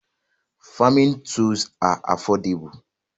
Farming tools are affordable